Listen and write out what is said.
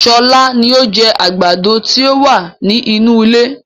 Sọlá ni ó jẹ àgbàdo ti o wa ni inú ilé